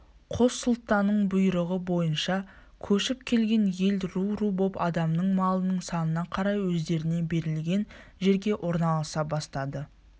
қос сұлтанның бұйрығы бойынша көшіп келген ел ру-ру боп адамының малының санына қарай өздеріне берілген жерге орналаса бастады